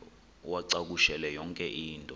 uwacakushele yonke into